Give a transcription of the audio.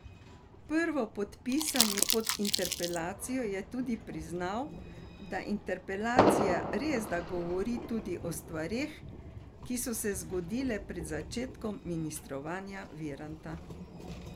Prvopodpisani pod interpelacijo je tudi priznal, da interpelacija resda govori tudi o stvareh, ki so se zgodile pred začetkom ministrovanja Viranta.